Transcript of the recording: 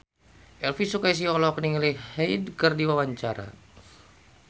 Elvi Sukaesih olohok ningali Hyde keur diwawancara